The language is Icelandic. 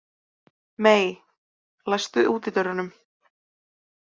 Mey, læstu útidyrunum.